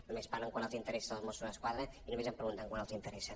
només en parlen quan els interessa dels mossos d’esquadra i només em pregunten quan els interessa